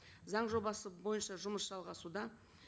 заң жобасы бойынша жұмыс жалғасуда